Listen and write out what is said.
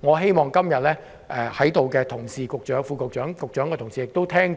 我希望今天在席的同事、局長、副局長、局長的同事聆聽